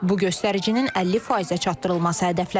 Bu göstəricinin 50%-ə çatdırılması hədəflənir.